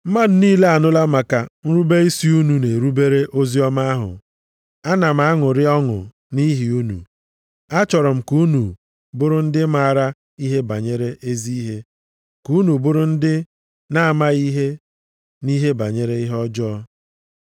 Mmadụ niile anụla maka nrube isi unu na-erubere oziọma ahụ. Ana m aṅụrị ọṅụ nʼihi unu. Achọrọ m ka unu bụrụ ndị maara ihe banyere ezi ihe, ka unu bụrụ ndị na-amaghị ihe nʼihe banyere ihe ọjọọ.